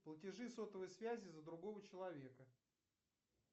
платежи сотовой связи за другого человека